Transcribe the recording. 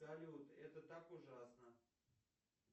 салют это так ужасно